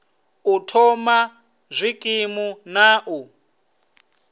u thoma zwikimu na u